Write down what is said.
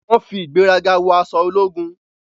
Wọ́n fi ìgbéraga wọ aṣọ ológun.